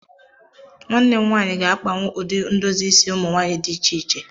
Nwanne m nwanyị ga-akpawu ụdị ndozi isi ụmụ nwaanyị dị iche iche